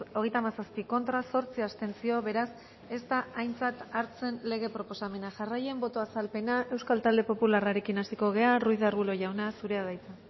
hogeita hamazazpi contra zortzi abstentzio beraz ez da aintzat hartzen lege proposamena jarraian boto azalpena euskal talde popularrarekin hasiko gara ruiz de arbulo jauna zurea da hitza